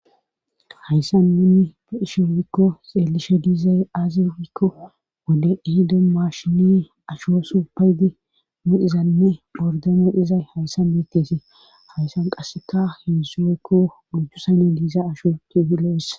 hayssan nuni be isho woykko xeelishe diizay aaze gikko wode ihido maashini asho su paydi mudhizanne bordamo izay haysan bettesee hayssan qasseka heensu oykko gojjusani diiza asho tiuhilowes